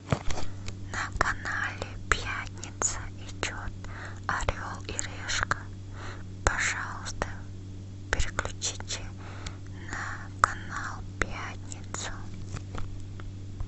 на канале пятница идет орел и решка пожалуйста переключите на канал пятница